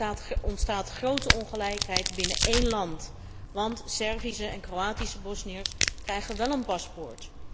Er ontstaat grote ongelijkheid binnen één land, want Servische en Kroatische Bosniërs krijgen wel een paspoort.